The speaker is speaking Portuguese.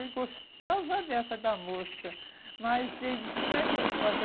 Ele gostava à beça da moça, mas ele disse, como é que eu posso?